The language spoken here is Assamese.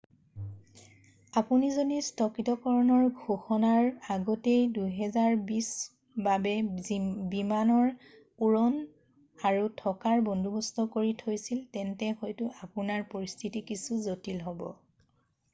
আপুনি যদি স্থগিতকৰণৰ ঘোষণাৰ আগতেই 2020ৰ বাবে বিমানৰ উৰণ আৰু থকাৰ বন্দোৱস্ত কৰি থৈছিল তেন্তে হয়তো আপোনাৰ পৰিস্থিতি কিছু জটিল হ'ব